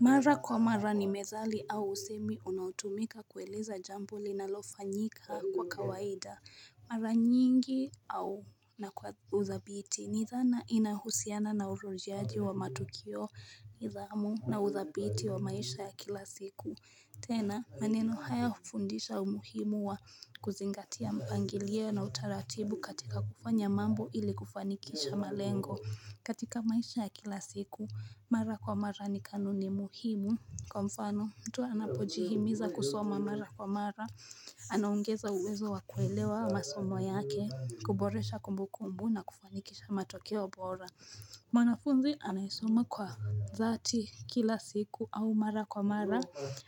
Mara kwa mara ni methali au usemi unaotumika kueleza jambo linalofanyika kwa kawaida. Mara nyingi au na kwa uzabiti ni dhana inahusiana na urudiaji wa matukio idhamu na uzabiti wa maisha ya kila siku. Tena maneno haya hufundisha umuhimu wa kuzingatia mpangilio na utaratibu katika kufanya mambo ili kufanikisha malengo katika maisha ya kila siku, mara kwa mara ni kanuni muhimu Kwa mfano, mtu anapojihimiza kusoma mara kwa mara Anaongeza uwezo wa kuelewa wa masomo yake, kuboresha kumbu kumbu na kufanikisha matokeo bora mwanafunzi anayesoma kwa dhati kila siku au mara kwa mara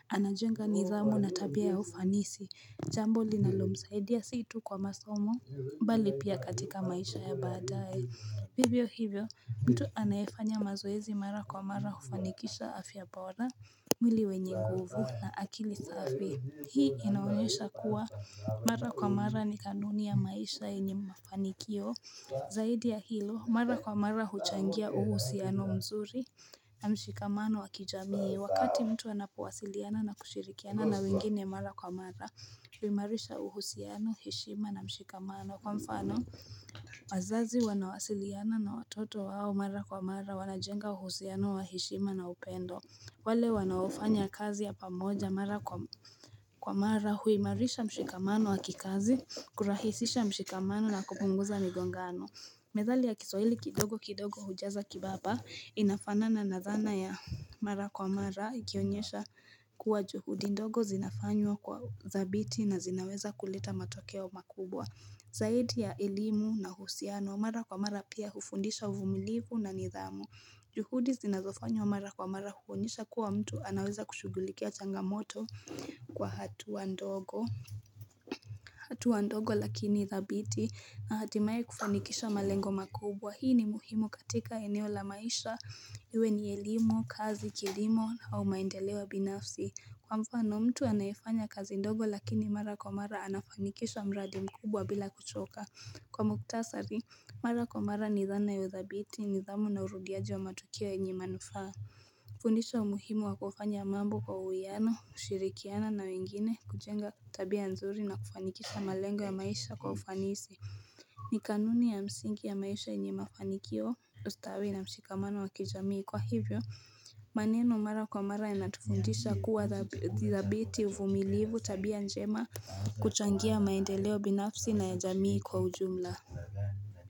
Anajenga nidhamu na tabia ya ufanisi Jambo linalo msaidia si tu kwa masomo mbali pia katika maisha ya badae hivyo hivyo, mtu anayefanya mazoezi mara kwa mara hufanikisha afya bora mwili wenye nguvu na akili safi Hii inaonyesha kuwa Mara kwa mara ni kanuni ya maisha yenye mafanikio Zaidi ya hilo mara kwa mara huchangia uhusiano mzuri na mshikamano wa kijamii Wakati mtu anapowasiliana na kushirikiana na wengine mara kwa mara huimarisha uhusiano, heshima na mshikamano kwa mfano wazazi wanawasiliana na watoto wao mara kwa mara wanajenga uhusiano wa heshima na upendo wale wanaofanya kazi ya pamoja mara kwa mara huimarisha mshikamano wa kikazi kurahisisha mshikamano na kupunguza migongano Methali ya kisawili kidogo kidogo hujaza kibaba inafanana na thana ya mara kwa mara ikionyesha kuwa juhudi ndogo zinafanywa kwa thabiti na zinaweza kulita matokeo makubwa. Zaidi ya elimu na uhusiano mara kwa mara pia hufundisha uvumilivu na nidhamu. Juhudi zinazofanywa mara kwa mara huonyesha kuwa mtu anaweza kushugulikia changamoto kwa hatua ndogo. Hatua ndogo lakini dhabiti na hatimaye kufanikisha malengo makubwa hii ni muhimu katika eneo la maisha iwe ni elimu, kazi, kilimo au maendeleo binafsi Kwa mfano mtu anafanya kazi ndogo lakini mara kwa mara anafanikisha mradi mkubwa bila kuchoka Kwa muktasari, mara kwa mara ni dhana ya udhabiti nidhamu na urudiaji wa matukio yenye manufaa fundisha umuhimu wa kufanya mambo kwa uwiyano, ushirikiana na wengine kujenga tabia nzuri na kufanikisha malengo ya maisha kwa ufanisi ni kanuni ya msingi ya maisha yenye mafanikio ustawi na mshikamano wa kijamii kwa hivyo maneno mara kwa mara yanatufundisha kuwa thabiti uvumilivu tabia njema kuchangia maendeleo binafsi na ya jamii kwa ujumla.